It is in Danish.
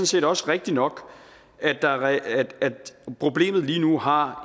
set også rigtigt nok at problemet lige nu har